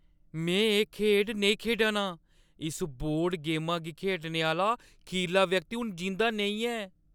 में एह् खेढ नेईं खेढा ना आं। इस बोर्ड गेमा गी खेढने आह्‌ला खीरला व्यक्ति हून जींदा नेईं ऐ।